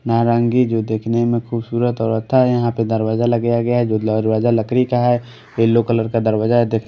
नारंगी जो देखने मे खूबसूरत और होता यहां पे दरवाजा लगाया गया जो दरवाजा लकरी का है येलो कलर का दरवाजा है दे--